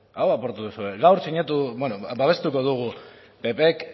hau apurtu duzue gaur sinatu beno babestuko dugu ppek